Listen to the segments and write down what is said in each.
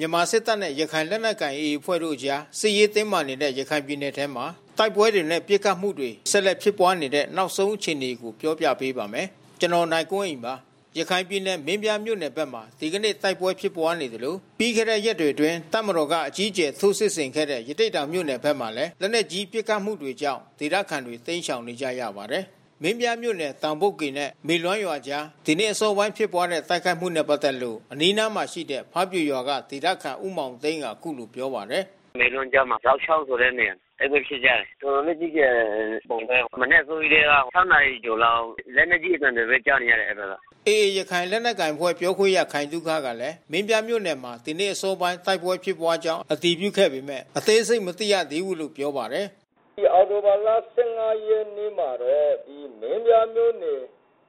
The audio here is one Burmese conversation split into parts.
မြန်မာစစ်တပ်နဲ့ ရခိုင်လက်နက်ကိုင် AA အဖွဲ့တို့ကြား စစ်ရေးတင်းမာနေတဲ့ ရခိုင်ပြည်နယ်ထဲမှာ တိုက်ပွဲတွေနဲ့ ပစ်ခတ်မှုတွေ ဆက်လက်ဖြစ်ပွားနေတဲ့ နောက်ဆုံးအခြေအနေကို ဗွီအိုအေမြန်မာပိုင်း သတင်းထောက် ကိုနိုင်ကွန်းအိန်က ပြောပြပေးပါမယ်။ ရခိုင်ပြည်နယ် မင်းပြားမြို့နယ်ဘက်မှာ ဒီကနေ့ တိုက်ပွဲဖြစ်ပွားနေသလို ပြီးခဲ့တဲ့ ရက်တွေအတွင်း တပ်မတော်က အကြီးအကျယ် ထိုးစစ်ဆင်ခဲ့တဲ့ ရသေ့တောင်မြို့နယ်ဘက်မှာလည်း လက်နက်ကြီးပစ်ခတ်မှုတွေကြောင့် ဒေသခံတွေ တိမ်းရှောင်နေကြရပါတယ်။ မင်းပြားမြို့နယ် တောင်ဘုတ်ကေနဲ့ မေလွမ်းရွာအကြား ဒီနေ့အစောပိုင်းဖြစ်ပွားတဲ့ တိုက်ခိုက်မှုနဲ့ ပတ်သက်လို့ အနီးအနားမှာ ရှိနေတဲ့ ဖားပြိုရွာက ဒေသခံ ဦးမောင်သိန်းက အခုလို ပြောပါတယ်။ “မေလွမ်းကြားမှာ ဇောက်ချောင်းဆိုတဲ့နေရာ။ တိုက်ပွဲဖြစ်ကြတယ်။ တော်တာ်လေးကြီး ကျယ်တဲ့ပုံပဲ။ မနက်အစောကြီးတည်းက ၆ နာရီကျော်လောက် လက်နက်ကြီးအသံပဲ ကြားနေရတယ် အဲဒီဘက်က။” AA ရခိုင်လက်နက်ကိုင်အဖွဲ့ ပြောခွင့်ရ ခိုင်သုခကလည်း မင်းပြားမြို့နယ်မှာ ဒီနေ့အစောပိုင်း တိုက်ပွဲဖြစ်ပွားခဲ့ကြောင်း အတည်ပြုခဲ့ပေမဲ့ အသေးစိတ်မသိရသေးဘူးလို့ ပြောပါတယ်။ “ဒီအောက်တိုဘာလ ၁၅ ရက်နေ့မှာတော့ မင်းပြားမြို့နယ်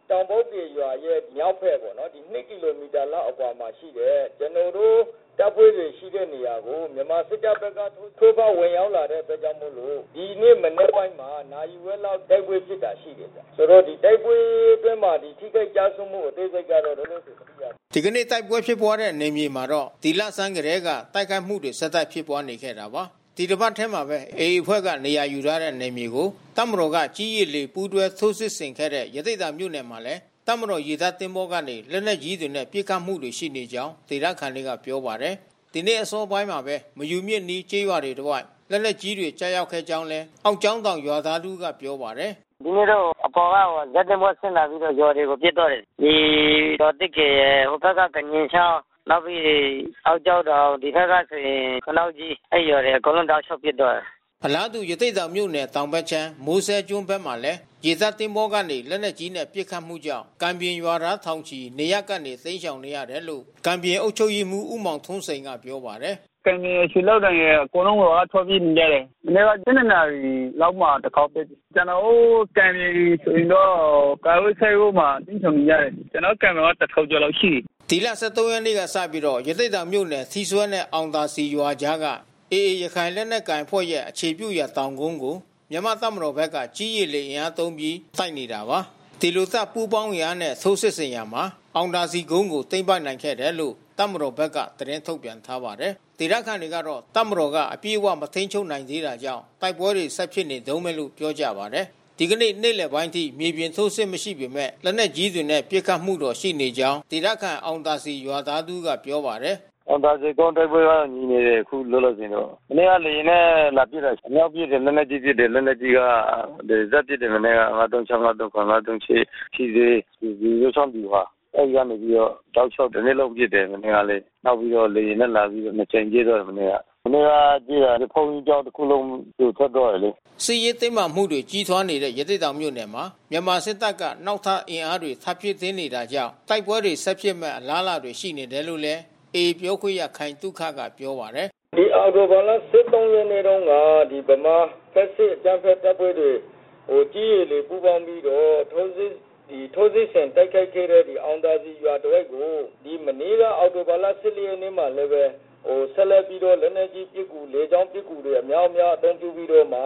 တောင်ဘုတ်ကေရွာရဲ့ မြောက်ဘက် ၂ ကီလိုမီတာလောက်မှာရှိတဲ့ ကျနော်တို့ တပ်ဖွဲ့တွေ ရှိတဲ့နေရာကို မြန်မာစစ်တပ်ဘက်က ထိုးဖောက် ဝင်ရောက်လာတဲ့အတွက်ကြောင့်မို့လို့ နာရီဝက်လောက်တိုက်ပွဲဖြစ်တာရှိတယ်။ တိုက်ပွဲအတွင်းမှာ ထိခိုက်ကျဆုံးမှု အသေးစိတ်ကတော့ မသိရသေးဘူး။” ဒီကနေ့ တိုက်ပွဲဖြစ်ခဲ့တဲ့ နယ်မြေမှာတော့ ဒီလဆန်းကတည်းက တိုက်ခိုက်မှုတွေ ဆက်တိုက် ဖြစ်ပွားနေခဲ့တာပါ။ ဒီတပတ်ထဲမှာပဲ AA အဖွဲ့က နေရာယူထားတဲ့ နယ်မြေကို တပ်မတော်က ကြည်း၊ ရေ၊ လေ ပူးတွဲ ထိုးစစ်ဆင်ခဲ့တဲ့ ရသေ့တောင်မြို့နယ်မှာလည်း တပ်မတော်ရေတပ်သင်္ဘောကနေ လက်နက်ကြီးတွေနဲ့ ပစ်ခတ်မှုတွေ ရှိနေကြောင်း ဒေသခံတွေက ပြောပါတယ်။ ဒီနေ့အစောပိုင်းမှာပဲ မယူမြစ်အနီး ကျေးရွာတွေတဝိုက် လက်နက်ကြီးတွေ ကျရောက်ခဲ့ကြောင်းလည်း အောက်ကျောင်းတောင် ရွာသားတဦးကပြောပါတယ်။ “ဒီနေ့တော့ အပေါ်က ဇက်သင်္ဘောဆင်းလာပြီးတော့ ရွာတွေကို ပစ်သွားတယ်။ ဒီရွာသစ်ကေရယ်၊ ဟိုဘက်က ဒညင်ချောင်း နောက်ပြီး အောက်ကျောင်းတောင်၊ ဒီဘက်ကဆို ခနောက်ကြီး အဲဒီရွာတွေကို တောက်လျှောက်ပစ်သွားတာ။” အလားတူ ရသေ့တောင်မြို့နယ် တောင်ဘက်ခြမ်း စဲကျွန်းဘက်မှာလည်း ရေတပ်သင်္ဘောကနေ လက်နက်ကြီးနဲ့ ပစ်ခတ်မှုကြောင့် ကံပြင်ရွာသား ထောင်ချီနေရပ်ကနေ တိမ်းရှောင်နေရတယ်လို့ ကံပြင်အုပ်ချုပ်ရေးမှူး ဦးမောင်ထွန်းစိန်ကပြောပါတယ်။ “ကံပြင်ရယ်၊ ရွှေလောင်းတင်ရယ် အကုန်လုံးကို ထွက်ပြေးနေရတယ်။ မနေ့က ၁၂ နာရီလောက်မှာ တခေါက်ပစ်။ ကျနော်တို့ ကံပြင်ဆိုရင်တော့ ကြက်ရိုးဆိပ်မှာ စစ်ရှောင်နေရတယ်။ ကျနော်တို့ ကံပြင်က ၁,၀၀၀ ကျော်လာက်ရှိတယ်။” ဒီလ ၁၃ ရက်နေ့က စပြီးရသေ့တောင်မြို့နယ်ထီးဆွဲနဲ့ အောင်သာစည်ရွာအကြားက AA ရခိုင်လက်နက်ကိုင်အဖွဲ့ အခြေပြုရာတောင်ကုန်းကို မြန်မာတပ်မတော်ဘက်က ကြည်းရေလေ အင်အားသုံးပြီး တိုက်နေတာပါ။ ဒီလိုတပ်ပူးပေါင်းအင်အားနဲ့ထိုးစစ်ဆင်ရာမှာ အောင်သာစည်ကုန်းကို သိမ်းပိုက်နိုင်ခဲ့တယ်လို့ တပ်မတော်ဘက်က သတင်းထုတ်ပြန်ထားပါတယ်။ ဒေသခံတွေကတော့ တပ်မတော်က အပြည့်အ၀ မထိန်းချုပ်နိုင်သေးတာကြောင့် တိုက်ပွဲတွေ ဆက်ဖြစ်နေတုန်းပဲလို့ ပြောကြပါတယ်။ ဒီကနေ့ နေ့လယ်ပိုင်းအထိ မြေပြင်ထိုးစစ်မရှိပေမဲ့ လက်နက်ကြီးတွေနဲ့ ပစ်ခတ်တာတော့ ရှိနေတဲ့အကြောင်း ဒေသခံ အောင်သာစည် ရွာသားတဦးကပြောပါတယ်။ “အောင်သာစည်ကုန်း တိုက်ပွဲတော့ငြိမ်နေတယ်... ခုလောလောဆယ်တော့။ မနေ့ကလေယာဉ်နဲ့ လာပစ်တယ်။ အမြောက်ကြီးတွေ လက်နက်ကြီးတွေ ဒလစပ်ပစ်တယ်မနေ့က။ ၅၃၆၊ ၅၃၇၊ ၅၃၈ ထီးစွဲ ရေစိုးချောင်းဗျူဟာ အဲဒီကနေပြီးတော့ တောက်လျှောက် တနေ့လုံးပစ်တယ်... မနေ့ကလည်း။ နောက်ပြီးလေယာဉ်နဲ့ လာပြီး နှစ်ကြိမ်ပစ်တယ်မနေ့က။ မနေ့က ကျေးရွာဘုန်းကြီးကျောင်း တခုလုံး ပြိုပျက်သွားတယ်။” စစ်ရေးတင်းမာမှုတွေ ကြီးထွားနေတဲ့ ရသေ့တောင်မြို့နယ်မှာ မြန်မာစစ်တပ်က နောက်ထပ် အင်အားတွေ ထပ်မံဖြည့်တင်းနေတာကြောင့် တိုက်ပွဲတွေ ဆက်ဖြစ်မယ့် အလားအလာတွေ ရှိနေတယ်လို့လည်း AA ပြောခွင့်ရခိုင်သုခက ပြောပါတယ်။ “မနေ့က အောက်တိုဘာလ ၁၄ ရက်နေ့မှာလည်းပဲ ဆက်လက်ပြီး လက်နက်ကြီး ပစ်ကူ၊ လေကြောင်း ပစ်ကူ အများပြားအသုံးပြုပြီးတော့မှ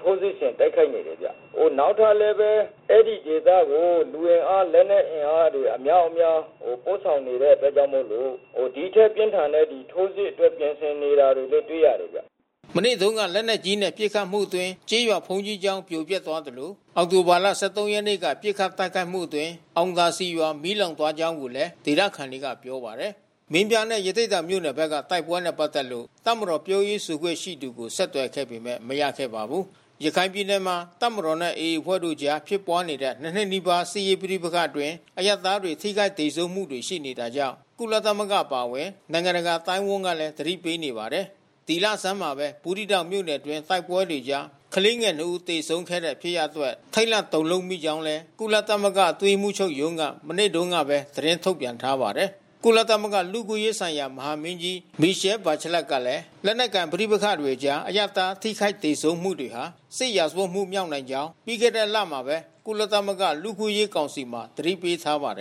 ထိုးစစ်ဆင်တိုက်ခိုက်နေတယ်ဗျ။ နောက်ထပ်လဲဘဲ အဲဒီဒေသကို လူအင်အား လက်နက်အင်အားတွေ အမြောက်အများ ပို့ဆောင်နေတဲ့အတွက်ကြောင့်မို့လို့ ဒီထက်ပြင်းထန်တဲ့ ထိုးစစ်အတွက်ပြင်ဆင်နေတာတွေတော့တွေ့ရတယ်ဗျ။” မနေ့တုန်းက လက်နက်ကြီးနဲ့ ပစ်ခတ်မှုတွေတွင်း ကျေးရွာဘုန်းကြီးကျောင်းပြိုပျက်သွားသလို အောက်တိုဘာ ၁၃ ရက်နေ့က ပစ်ခတ်တိုက်ခိုက်မှုအတွင်း အောင်သာစည်ရွာ မီးလောင်သွားခဲ့ကြောင်းလည်း ဒေသခံတွေက ပြောပါတယ်။ မင်းပြားနဲ့ ရသေ့တောင်မြို့နယ်တွေက တိုက်ပွဲတွေနဲ့ ပတ်သက်လို့ တပ်မတော်ပြောရေး ဆိုခွင့်ရှိသူကို ဆက်သွယ်ခဲ့ပေမဲ့ မရခဲ့ပါဘူး။ ရခိုင်ပြည်နယ်မှာ တပ်မတော်နဲ့ AA အဖွဲ့တို့ကြား ဖြစ်ပွားနေတဲ့ ၂ နှစ်နီးပါးကြာ စစ်ရေးပဋိပက္ခအတွင်း အရပ်သားတွေ ထိခိုက်သေဆုံးမှုတွေ ရှိနေတာကြောင့် ကုလသမဂ္ဂ အပါအဝင် နိုင်ငံတကာအသိုင်းအဝန်းကလည်း သတိပေးနေပါတယ်။ ဒီလဆန်းမှာပဲ ဘူးသီးတောင်မြို့နယ်တွင်း တိုက်ပွဲတွေကြား ကလေးငယ် ၂ ဦး သေဆုံးခဲ့တဲ့ ဖြစ်ရပ်အတွက် ထိတ်လန့်တုန်လှုပ်မိကြောင်းလည်း ကုလသမဂ္ဂ အတွင်းရေးမှူးချုပ်ရုံးက မနေ့တုန်းကပဲ သတင်းထုတ်ပြန်ထားပါတယ်။ကုလသမဂ္ဂ လူ့အခွင့်အရေးဆိုင်ရာ မဟာမင်းကြီး Michelle Bacheletကလည်း လက်နက်ကိုင် ပဋိပက္ခတွေကြား အရပ်သား ထိခိုက်သေဆုံးမှု တွေဟာ စစ်ရာဇဝတ်မှု မြောက်နိုင်ကြောင်း ပြီးခဲ့တဲ့လထဲမှာပဲ ကုလသမဂ္ဂ လူ့အခွင့်အရေး ကောင်စီမှာ သတိပေးထားပါတယ်